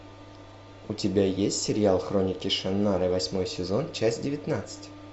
у тебя есть сериал хроники шаннары восьмой сезон часть девятнадцать